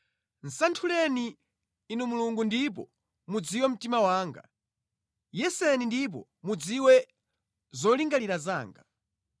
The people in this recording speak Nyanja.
Santhuleni, Inu Mulungu ndipo mudziwe mtima wanga; Yeseni ndipo mudziwe zolingalira zanga.